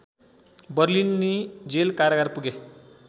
बर्लिन्नी jail कारागार पुगे